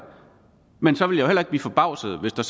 men så ville jeg blive forbavset hvis der